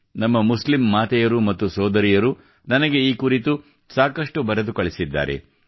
ನಮ್ಮ ಮುಸ್ಲಿಂ ಮಾತೆಯರು ಮತ್ತು ಸೋದರಿಯರು ನನಗೆ ಈ ಕುರಿತು ಸಾಕಷ್ಟು ಬರೆದು ಕಳಿಸಿದ್ದಾರೆ